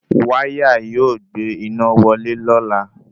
Wáyà yóò gbé iná wọlé lọ́la